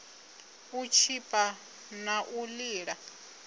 u tshipa na u lila